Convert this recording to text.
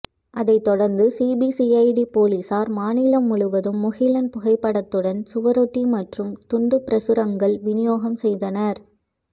அதைத்தொடர்ந்து சிபிசிஐடி போலீசார் மாநிலம் முழுவதும் முகிலன் புகைப்படத்துடன் சுவரொட்டி மற்றும் துண்டு பிரசுரங்கள் வினியோகம் செய்தனர்